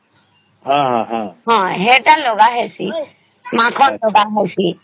ଜଣ ସେତ ଲାଗ ହେଇସି ମାଖନ ଲାଗ ହେଇସି